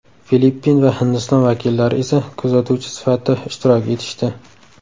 Filippin va Hindiston vakillari esa kuzatuvchi sifatida ishtirok etishdi.